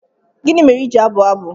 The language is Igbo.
Gịnị mere i ji na-abụ abụ?